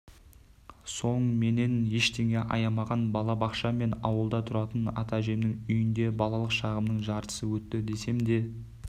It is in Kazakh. соң менен ештеңе аямаған бала-бақша мен ауылда тұратын ата-әжемнің үйінде балалық шағымның жартысы өтті десемде